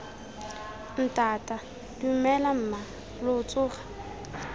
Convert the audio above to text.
ntata dumela mma lo tsoga